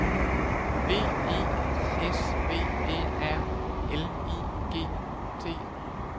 B E S V Æ R L I G T